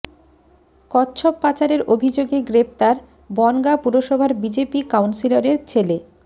কচ্ছপ পাচারের অভিযোগে গ্রেফতার বনগাঁ পুরসভার বিজেপি কাউন্সিলরের ছেলে